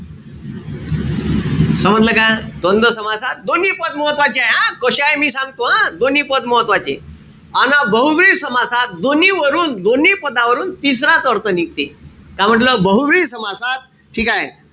समजलं का? द्वंद्व समासात दोन्ही पद महत्वाचे हाये. हा? कशे आहे? मी सांगतो आ दोम्ही पद महत्वाचे. अन बहूव्रीही समासात दोन्ही वरून, दोन्ही पदावरून तिसराच अर्थ निघते. का म्हंटल? बहुव्रीही समासात ठीकेय?